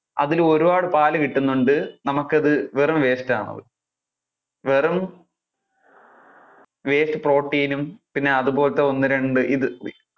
അതിൽ ഒരുപാട് പാല് കിട്ടുന്നുണ്ട് നമുക്ക് അത് വെറും waste ആണ് അത്. വെറും waste protein പിന്നെ അതുപോലത്തെ ഒന്ന് രണ്ടു ഇത്